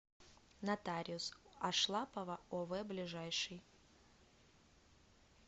нотариус ашлапова ов ближайший